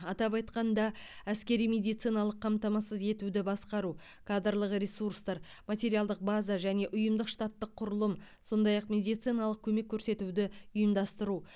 атап айтқанда әскери медициналық қамтамасыз етуді басқару кадрлық ресурстар материалдық база және ұйымдық штаттық құрылым сондай ақ медициналық көмек көрсетуді ұйымдастыру